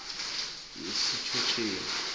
wesitjhotjheni